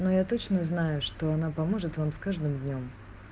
но я точно знаю что она поможет вам с каждым днём